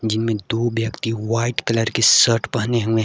जिनमें दो व्यक्ति व्हाइट कलर की शर्ट पहने हुए हैं।